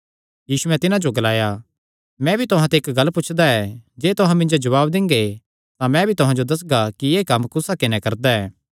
यीशुयैं तिन्हां जो ग्लाया मैं भी तुहां ते इक्क गल्ल पुछदा ऐ मिन्जो जवाब देआ तां मैं तुहां जो दस्सगा कि एह़ कम्म कुस हक्के नैं करदा ऐ